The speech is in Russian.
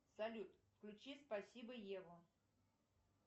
салют включи спасибо еву